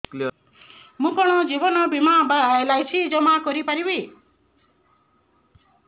ମୁ କଣ ଜୀବନ ବୀମା ବା ଏଲ୍.ଆଇ.ସି ଜମା କରି ପାରିବି